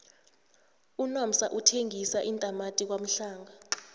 unomsa uthengisa iintamati kwamhlanga